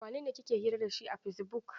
Wanene kike hira da shi a Fesibuk?